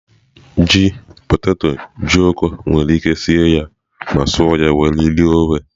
Ji, poteto, ojokọ́ nwere ike sie ya ma suọ ya were rie ofe.